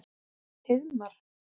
Heiðmar